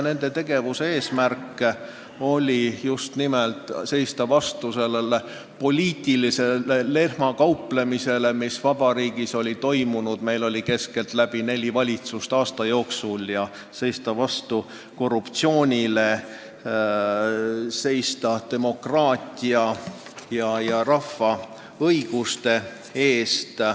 Nende tegevuse eesmärk oli just nimelt seista vastu sellele poliitilisele lehmakauplemisele, mis vabariigis oli toimunud – Eestis oli neli valitsust aasta jooksul –, seista vastu korruptsioonile ja kaitsta demokraatiat ja rahva õigusi.